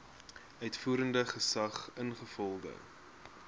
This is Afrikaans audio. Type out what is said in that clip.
uitvoerende gesag ingevolge